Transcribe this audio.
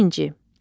Birinci.